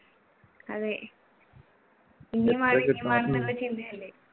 അതെ. ചിന്തയല്ലേ?